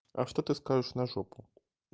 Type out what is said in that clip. а что ты скажешь на жопу